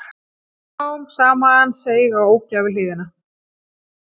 Smám saman seig á ógæfuhlið.